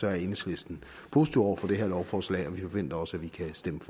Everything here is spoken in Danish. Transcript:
er enhedslisten positive over for det her lovforslag og vi forventer også at vi kan stemme